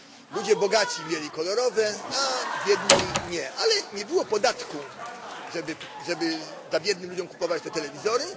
Ludzie bogaci mieli kolorowe, a biedni nie, ale nie było podatku, żeby biednym ludziom kupować te telewizory.